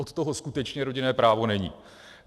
Od toho skutečně rodinné právo není.